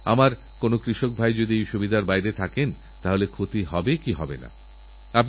সেই জন্য যেসব মাতাপিতা নিজেদের কল্যাণের কথাভাবেন ভালো ভালো গাছ লাগিয়ে সন্তানের মতো লালনপালন করুন